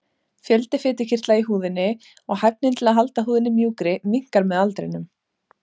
Fjöldi fitukirtla í húðinni og hæfnin til að halda húðinni mjúkri minnkar með aldrinum.